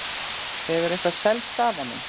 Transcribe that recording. En hefur eitthvað selst af honum?